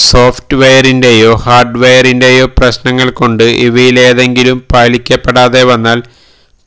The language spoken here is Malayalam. സോഫ്റ്റ്വെയറിന്റെയോ ഹാർഡ്വെയറിന്റെയോ പ്രശ്നങ്ങൾ കൊണ്ട് ഇവയിലേതെങ്കിലും പാലിക്കപ്പെടാതെ വന്നാൽ